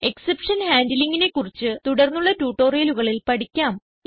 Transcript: exception Handlingനെ കുറിച്ച് തുടർന്നുള്ള ട്യൂട്ടോറിയലുകളിൽ പഠിക്കാം